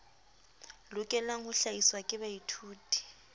lokelang ho hlahiswa ke baithuti